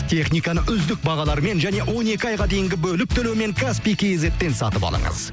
техниканы үздік бағалармен және он екі айға дейінгі бөліп төлеумен каспий кейзетпен сатып алыңыз